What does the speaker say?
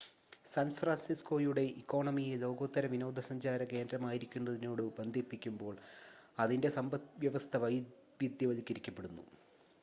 San ഫ്രാൻസിസ്കോയുടെ ഇക്കോണമിയെ ലോകോത്തര വിനോദസഞ്ചാര കേന്ദ്രമായിരിക്കുന്നതിനോട് ബന്ധിപ്പിക്കുമ്പോൾ അതിൻ്റെ സമ്പദ്‌വ്യവസ്ഥ വൈവിധ്യവൽക്കരിക്കപ്പെടുന്നു